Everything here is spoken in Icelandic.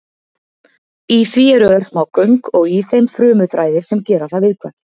Í því eru örsmá göng og í þeim frumuþræðir sem gera það viðkvæmt.